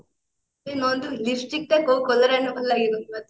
ଏ Nandu lipstick ଟା କୋଉ color ଆଣିଲେ ଭଲ ଲାଗିବ କହିଲୁ ମତେ